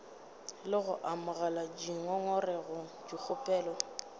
le go amogela dingongorego dikgopelo